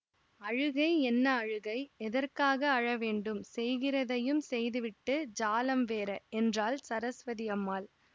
அழுகை என்ன அழுகை எதற்காக அழ வேண்டும் செய்கிறதையும் செய்துவிட்டு ஜாலம்வேற என்றாள் சரஸ்வதி அம்மாள்